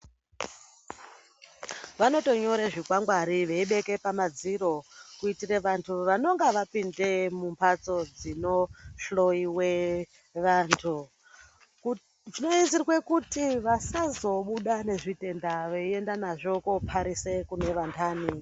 Vanotonyora zvikwangwari veibeke pamadziro kuitire vantu vanonga vapinde mumhatso dzinohloiwe vantu. Zvinoizirwe kuti vasazobude nezvitenda veienda nazvo koparise kune vandani.